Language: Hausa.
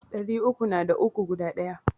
Ɗari uku na da uku guda Ɗaya.